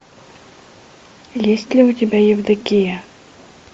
есть ли у тебя евдокия